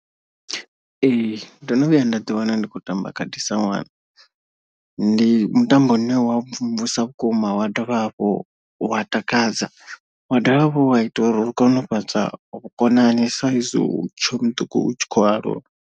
Ee ndo no vhuya nda ḓi wana ndi khou tamba khadi sa ṅwana. Ndi mutambo une wa mvumvusa vhukuma wa dovha hafhu wa takadza. Wa dovha hafhu wa ita uri u kone u fhaṱa vhukonani saizwi u tshe muṱuku u tshi khou aluwa.